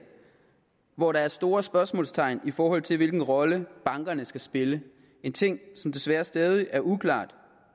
hvor der er store spørgsmålstegn i forhold til hvilken rolle bankerne skal spille en ting som desværre stadig er uklar